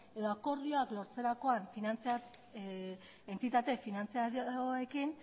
edo akordioak lortzerakoan entitate finantziarioekin